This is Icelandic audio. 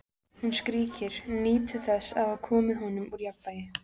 Hún skríkir, nýtur þess að hafa komið honum úr jafnvægi.